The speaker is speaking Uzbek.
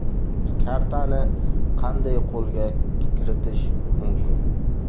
Kartani qanday qo‘lga kiritish mumkin?